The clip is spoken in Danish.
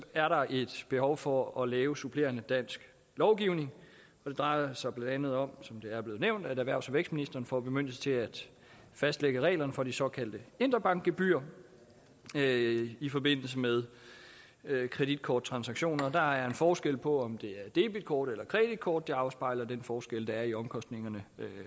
er der et behov for at lave supplerende dansk lovgivning og det drejer sig blandt andet om som det er blevet nævnt at erhvervs og vækstministeren får bemyndigelse til at fastlægge reglerne for de såkaldte interbankgebyrer i forbindelse med kreditkorttransaktioner der er forskel på om det er debitkort eller kreditkort det afspejler den forskel der er i omkostningerne